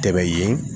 Tɛ yen